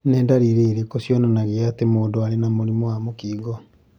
Nĩ ndariri irĩkũ cionanagia atĩ mũndũ arĩ na mũrimũ wa Camptobrachydactyly?